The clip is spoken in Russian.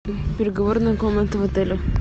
переговорная комната в отеле